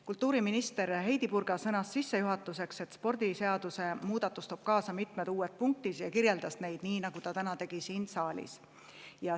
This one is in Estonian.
Kultuuriminister Heidy Purga sõnas sissejuhatuseks, et spordiseaduse muutmine toob kaasa mitmed uued punktid, ja ta kirjeldas neid nii, nagu ta tegi ka täna siin saalis.